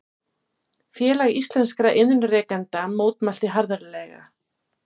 Félag íslenskra iðnrekenda mótmælti harðlega